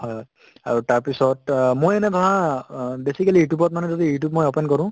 হয় হয় । আৰু তাৰ পিছত আহ মই এনে ধৰা অহ basically youtube ত মানে যদি youtube মই open কৰো